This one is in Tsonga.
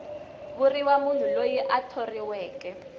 vuriwa munhu loyi a thoriweke